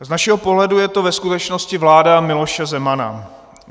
Z našeho pohledu je to ve skutečnosti vláda Miloše Zemana.